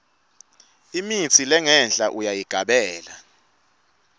lemitsi lengenhla uyayigabela